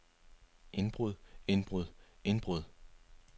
indbrud indbrud indbrud